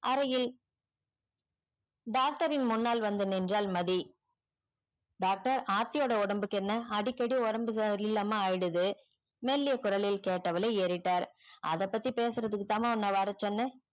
அறையில் doctor ன் முன்னால் வந்து நின்றால் மதி doctor ஆர்த்தியோட ஒடம்புக்கு என்ன அடிக்கடி ஒடம்பு இது இல்லம்மா ஆயிடுது மெல்லிய கொரலில் கெட்டவளே ஏறிட்டாள் அத பத்தி பேசுறதுக்கு தான்ம்மா உன்ன வர சொன்ன